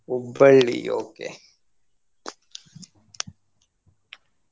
Hubballi okay .